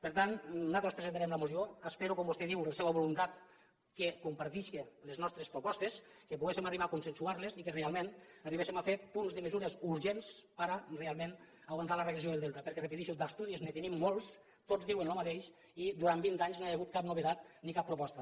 per tant nosaltres presentarem la moció espero com vostè diu la seua voluntat que comparteixi les nostres propostes que poguéssim arribar a consensuar·les i que realment arribéssim a fer punts de mesures urgents per a realment aguantar la regressió del delta perquè re·peteixo d’estudis ne tenim molts tots diuen el mateix i durant vint anys no hi ha hagut cap novetat ni cap proposta